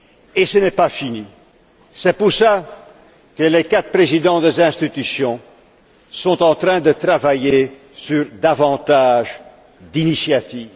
Et ce n'est pas fini. C'est pour cela que les quatre présidents des institutions sont en train de travailler sur davantage d'initiatives.